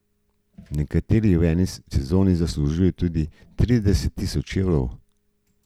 Nekateri v eni sezoni zaslužijo tudi trideset tisoč evrov.